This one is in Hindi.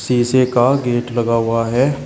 शीशे का गेट लगा हुआ है।